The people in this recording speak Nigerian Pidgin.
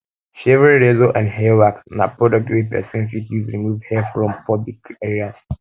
shaving razor or hair wax na product wey persin fit use remove hair from pubic areas